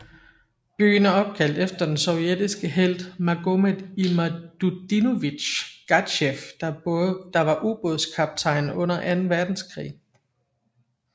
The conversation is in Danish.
Byen er opkaldt efter den sovjetiske helt Magomet Imadutdinovich Gadzhiev der var ubådskaptajn under anden verdenskrig